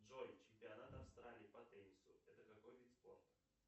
джой чемпионат австралии по теннису это какой вид спорта